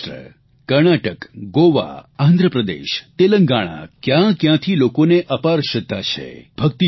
મહારાષ્ટ્ર કર્ણાટક ગોવા આંધ્રપ્રદેશ તેલંગણા કયાં કયાંથી લોકોને અપાર શ્રદ્ધા છે